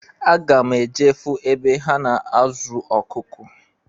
Aga m eje fụ ebe ha na-azụ ọkụkụ.